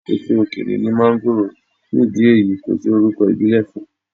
Èso òkèèrè ní máńgòrò, fún ìdí èyí kò sí orúkọ̀ ìbílè fún.